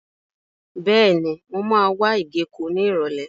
Bẹ́ẹ̀ni, mo máa wá ìgéko ní Ìrọ̀lẹ́.